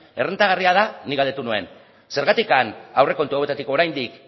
errentagarria da nik galdetu nuen zergatik aurrekontu hauetatik oraindik